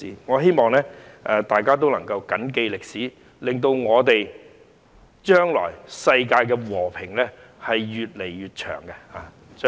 我希望大家能緊記歷史，令將來世界和平的日子可以越來越長。